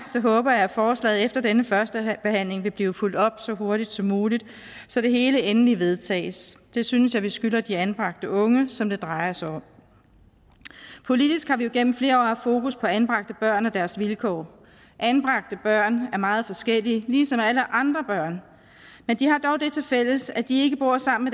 håber at forslaget efter denne første behandling vil blive fulgt op på så hurtigt som muligt så det hele endelig vedtages det synes jeg vi skylder de anbragte unge som det drejer sig om politisk har vi jo igennem flere år haft fokus på anbragte børn og deres vilkår anbragte børn er meget forskellige ligesom alle andre børn men de har dog det tilfælles at de ikke bor sammen